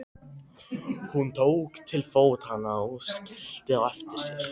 Hún tók til fótanna og skellti á eftir sér.